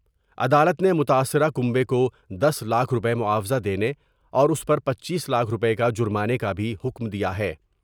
عدالت نے متاثرہ کنبے کو دس لاکھ روپے معاوضہ دینے اور اس پر چپیں لاکھ روپے کا جرمانے کا بھی حکم دیا ہے۔